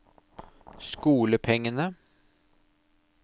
skolepengene